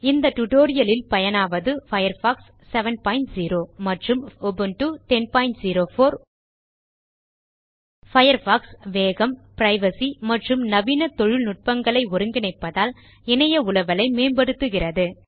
இதில் பயனாவது பயர்ஃபாக்ஸ் 70 மற்றும் உபுண்டு 1004 பயர்ஃபாக்ஸ் வேகம் பிரைவசி மற்றும் நவீன தொழில்நுட்பங்களை ஒருங்கிணைப்பதனால் இணைய உலவலை மேம்படுத்துகிறது